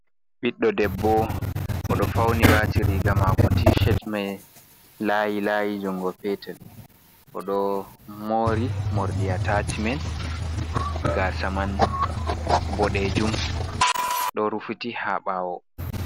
ɓiɗɗo debbo o ɗo fauni wati riga mako ti ched mai layi layi, jungo petel oɗo mo'ri morɗi ata'ci men gasaman boɗejum ɗo rufuti ha ɓawo.